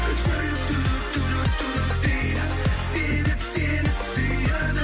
жүрек дейді себеп сені сүйеді